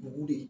Bugu de